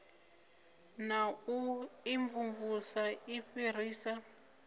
na u imvumvusa i fhirisa